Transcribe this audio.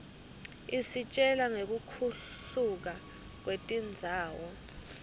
isitjela ngekuhluka kwetindzawo